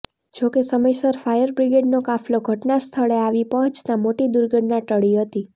જો કે સમયસર ફાયરબ્રિગેડનો કાફલો ઘચના સ્થળે આવી પહોંચતા મોટી દુર્ઘટના ટળી હતી